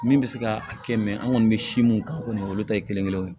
Min bɛ se ka kɛ an kɔni bɛ si mun kan o kɔni olu ta ye kelen kelen ye